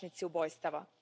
ubojstava.